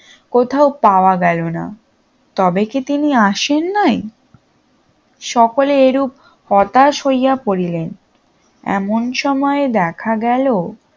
কোথাও পাওয়া গেল না তবে কি তিনি আসে নাই সকলে এরূপ হতাশ হইয়া পরিলেন এমন সময়ে দেখা গেল